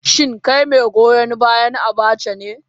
Shin kai mai goyon bayan Abacha ne?